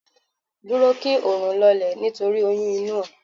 Dúró kí oòrùn lọlẹ̀ nítorí oyún inú ẹ